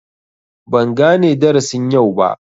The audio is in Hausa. Ban gane darasin yau ba.